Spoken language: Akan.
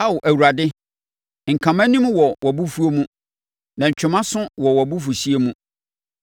Ao Awurade, nka mʼanim wɔ wʼabofuo mu na ntwe mʼaso wɔ wʼabufuhyeɛ mu.